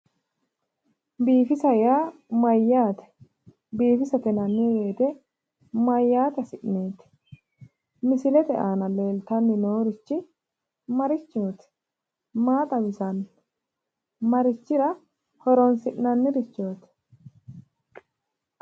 Biifisa yaa mayyaate? Biifisate yinanni woyte mayyaate hasi'neeti? Misilete aana leeltanni noorichi marichooti? Maa xawisanno? Marichira horoonsi'nannirichoti?